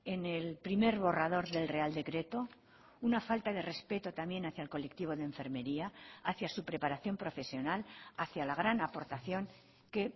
en el primer borrador del real decreto una falta de respeto también hacia el colectivo de enfermería hacia su preparación profesional hacia la gran aportación que